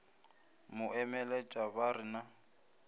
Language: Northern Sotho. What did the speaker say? mo emeletša ba re na